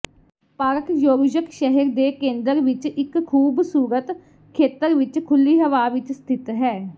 park ਯੋਰੁਯਕ ਸ਼ਹਿਰ ਦੇ ਕੇਂਦਰ ਵਿਚ ਇਕ ਖੂਬਸੂਰਤ ਖੇਤਰ ਵਿੱਚ ਖੁੱਲ੍ਹੀ ਹਵਾ ਵਿੱਚ ਸਥਿਤ ਹੈ